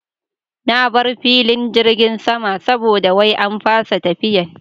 Na bar filin jirgin sama saboda wai an fasa tafiyan